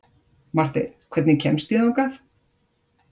Marteinn, hvernig kemst ég þangað?